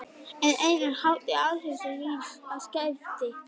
Ein mesta hátíð ársins fyrir siðaskipti.